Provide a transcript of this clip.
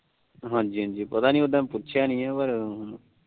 ਹਾਜੀ ਹਾਜੀ ਪਤਾ ਨੀ ਉਹ ਤਾ ਪੁਸ਼ਿਆ ਨੀ ਪਰ ਵੇਖੋ